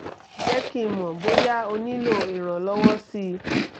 jẹ́ kí n mọ̀ bóyá o nílò ìrànlọ́wọ́ sí i